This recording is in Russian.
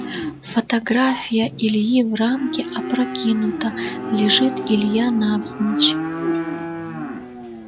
фотография ильи в рамке опрокинута лежит илья навзничь